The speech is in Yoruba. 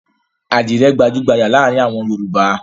Àdìrẹ́ gbajú-gbajà láàárin àwọn Yorùbá.